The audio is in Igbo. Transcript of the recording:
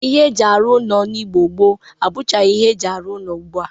Ihe ejiri arụ ụlọ n'Igbo gboo abụchagị ihe eji arụ ụlọ ugbu a.